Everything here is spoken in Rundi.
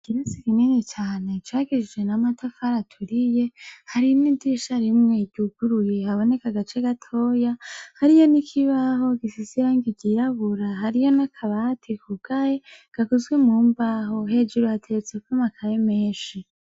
Ikirasi kinini cane, cubakishije n'amatafari aturiye, hari n'idirisha rimwe ryuguruye haboneka agace gatoya, hariyo n'ikibaho gifise irangi ryirabura, hariyo n'akabati kugaye, gakozwe mu mbaho. Hejuru hateretseko amakaye menshi.